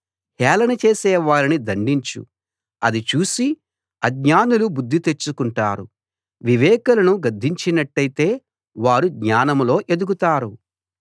హేళన చేసే వారిని దండించు అది చూసి ఆజ్ఞానులు బుద్ధి తెచ్చుకుంటారు వివేకులను గద్దించినట్టయితే వారు జ్ఞానంలో ఎదుగుతారు